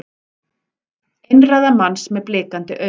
Einræða manns með blikandi augu